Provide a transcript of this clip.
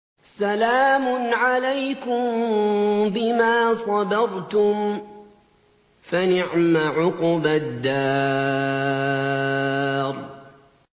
سَلَامٌ عَلَيْكُم بِمَا صَبَرْتُمْ ۚ فَنِعْمَ عُقْبَى الدَّارِ